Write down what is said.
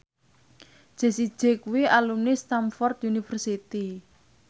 Jessie J kuwi alumni Stamford University